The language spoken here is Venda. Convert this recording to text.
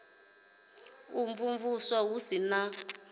u imvumvusa hu si na